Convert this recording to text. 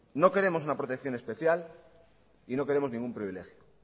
no queremos una protección especial y no queremos ningún privilegio